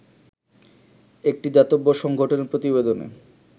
একটি দাতব্য সংগঠনের প্রতিবেদনে